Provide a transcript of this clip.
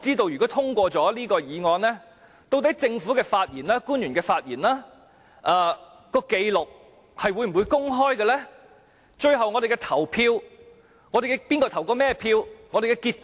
如果通過這項議案，我不知道日後會否公開政府官員的發言紀錄，以及會否公開哪位議員最後投甚麼票和投票結果？